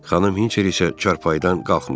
Xanım Hinçer isə çarpayıdan qalxmırdı.